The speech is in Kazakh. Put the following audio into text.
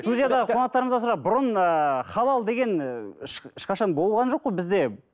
студиядағы қонақтарымыздан сұрайық бұрын ыыы халал деген ы ешқашан болған жоқ қой бізде